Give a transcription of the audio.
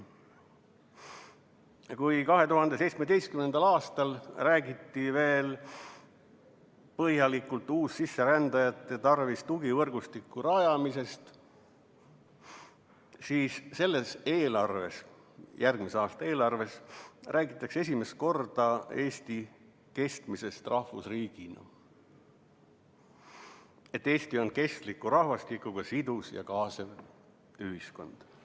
Kui 2017. aastal räägiti veel põhjalikult uussisserändajate tarvis tugivõrgustiku rajamisest, siis selles järgmise aasta eelarves räägitakse esimest korda Eesti kestmisest rahvusriigina, et Eesti on kestliku rahvastikuga sidus ja kaasav ühiskond.